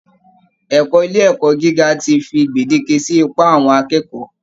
Ẹ̀kọ́ ilé ẹ̀kọ́ gíga ti fi gbèdéke sí ipá àwọn akẹ́kọ̀ọ́